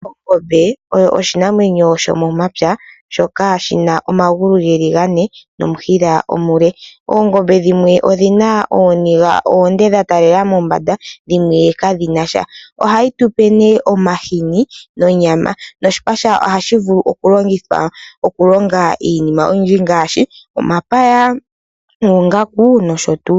Ongombe oyo oshinamwenyo shomomampya shoka shina omagulu geli gane nomushila omule. Oongombe dhimwe odhina ooniga oonde dhatalela mombanda dhimwe kadhinasha. Ohayi tupe ne omahini nonyama, noshipa shadho ohashi vulu okulongithwa okulonga iinima oyindji ngaashi, omapaya, noongaku nosho tu.